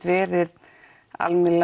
verið